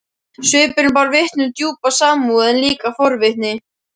Svipurinn bar vitni um djúpa samúð en líka forvitni.